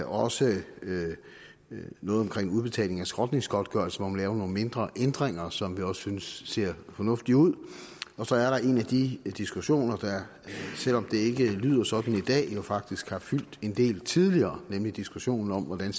også noget omkring udbetaling af skrotningsgodtgørelse hvor man laver nogle mindre ændringer som vi også synes ser fornuftige ud og så er der en af de diskussioner der selv om det ikke lyder sådan i dag jo faktisk har fyldt en del tidligere nemlig diskussionen om hvordan